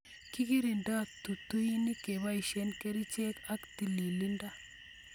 Kikirindoi tutuinik keboishe kerichek ak tililindo